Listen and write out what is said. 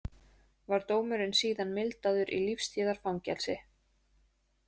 Var dómurinn síðan mildaður í lífstíðarfangelsi